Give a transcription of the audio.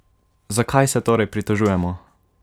Zakaj se torej pritožujemo?